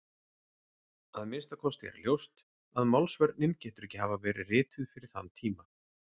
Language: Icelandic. Að minnsta kosti er ljóst að Málsvörnin getur ekki hafa verið rituð fyrir þann tíma.